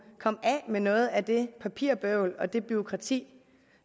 komme af med noget af det papirbøvl og det bureaukrati